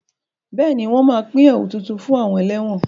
Bẹ́ẹ̀ni, wọn a pín ẹ̀wu tuntun fún àwọn ẹlẹ́wọ̀n